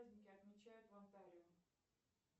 праздники отмечают в онтарио